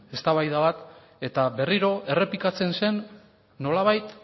eztabaida bat eta berriro errepikatzen zen nolabait